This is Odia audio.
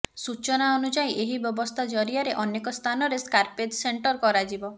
ସୂଚନା ଅନୁଯାୟୀ ଏହି ବ୍ୟବସ୍ଥା ଜରିଆରେ ଅନେକ ସ୍ଥାନରେ ସ୍କ୍ରାପେଜ ସେଣ୍ଟର କରାଯିବ